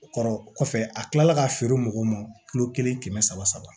O kɔrɔ kɔfɛ a tilala ka feere mɔgɔw ma kilo kelen kɛmɛ saba saba